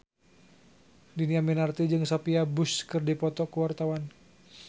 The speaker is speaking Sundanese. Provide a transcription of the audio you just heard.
Dhini Aminarti jeung Sophia Bush keur dipoto ku wartawan